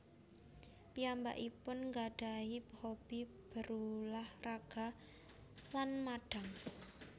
Piyambakipun ngggadahi hobi berulah raga lan madang